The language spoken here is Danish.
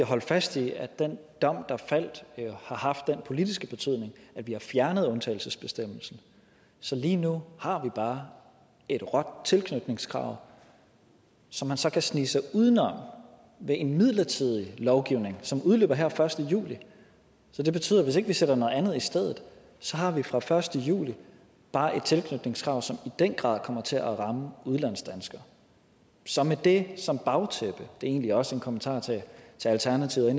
holde fast i at den dom der faldt har haft den politiske betydning at vi har fjernet undtagelsesbestemmelsen så lige nu har vi bare et råt tilknytningskrav som man så kan snige sig uden om ved en midlertidig lovgivning som udløber her første juli det betyder at hvis ikke vi sætter noget andet i stedet har vi fra første juli bare et tilknytningskrav som i den grad kommer til at ramme udlandsdanskere så med det som bagtæppe det er egentlig også en kommentar til alternativet